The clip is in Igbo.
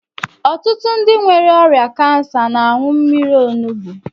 Ọtụtụ ndị nwere ọrịa kansa n'añu mmírí onugbu.